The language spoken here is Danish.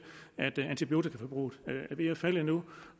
at antibiotikaforbruget er ved at falde nu